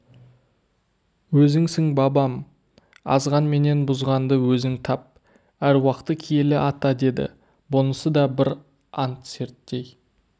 өзіңсің бабам азған менен бұзғанды өзің тап әруақты киелі ата деді бұнысы да бір ант серттей